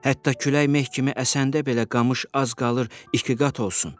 Hətta külək meh kimi əsəndə belə qamış az qalır ikigqat olsun.